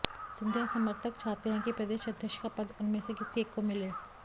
सिंधिया समर्थक चाहते हैं कि प्रदेश अध्यक्ष का पद उनमें से किसी एक को मिले